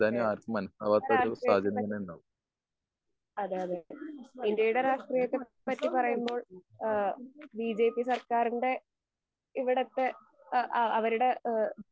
എഹ് ഇപ്പൊ രാക്ഷ്ട്രീയത്തെ പറ്റി അതെ അതെ ഇന്ത്യയുടെ രാക്ഷ്ട്രീയത്തെ പറ്റി പറയുമ്പോ ഏഹ് ബിജെപി സർക്കാറിന്റെ ഇവിടത്തെ അ ആ അവരുടെ ഏഹ്